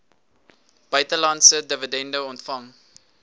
buitelandse dividende ontvang